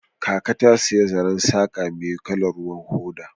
Kaka ta saya zaren saqa mai kalar ruwan hoda.